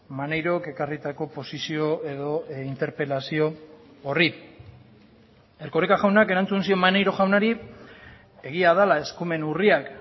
maneirok ekarritako posizio edo interpelazio horri erkoreka jaunak erantzun zion maneiro jaunari egia dela eskumen urriak